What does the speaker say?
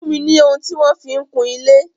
Fún mi ni ohun tí wọ́n fi ń kun ilé.